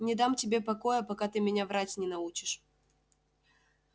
не дам тебе покоя пока ты меня врать не научишь